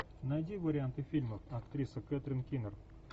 найди варианты фильмов актриса кэтрин кинер